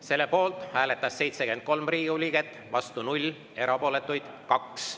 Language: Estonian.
Selle poolt hääletas 73 Riigikogu liiget, vastu 0, erapooletuid 2.